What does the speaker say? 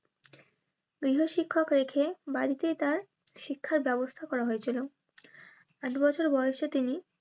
গৃহ শিক্ষিক রেখে বাড়িতেই তার শিক্ষার ব্যবস্থা করা হয়েছিল আট বছর বয়সে তিনি